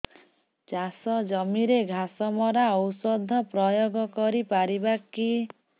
ଚାଷ ଜମିରେ ଘାସ ମରା ଔଷଧ ପ୍ରୟୋଗ କରି ପାରିବା କି